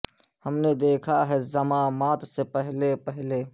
ہم نے دیکھا ہے زماں مات سے پہلے پہلے